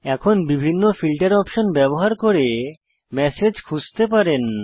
এখন বিভিন্ন filter option ব্যবহার করে ম্যাসেজ খুঁজতে পারেন